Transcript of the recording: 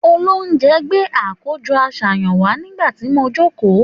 Òlòunjé gbé àkójõ àsáyan wà nigbati mò jòkó